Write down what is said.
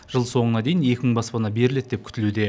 жыл соңына дейін екі мың баспана беріледі деп күтілуде